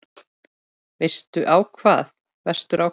Vestur á hvað?